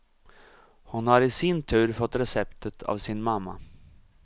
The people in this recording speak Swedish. Hon har i sin tur fått receptet av sin mamma.